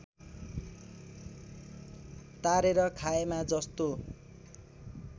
तारेर खाएमा जस्तो